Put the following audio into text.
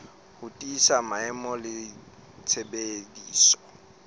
ho tiisa maemo le tshebediso